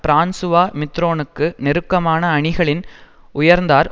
Francois மித்திரோனுக்கு நெருக்கமான அணிகளில் உயர்ந்தார்